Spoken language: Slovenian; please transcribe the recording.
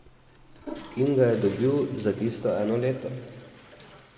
In ga je dobil za tisto eno leto.